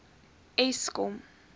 eskom